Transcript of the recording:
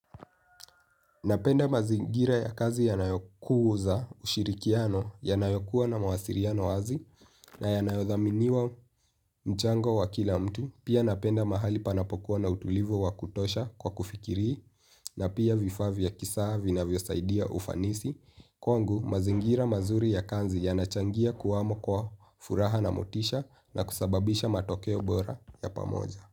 Napenda mazingira ya kazi yanayokuza ushirikiano, yanayokuwa na mawasiliano wazi na yanayothaminiwa mchango wa kila mtu. Pia napenda mahali panapokuwa na utulivu wa kutosha kwa kufikiri na pia vifaa vya kisawa vinavyosaidia ufanisi. Kwangu mazingira mazuri ya kazi yanachangia kuwamo kwa furaha na motisha na kusababisha matokeo bora ya pamoja.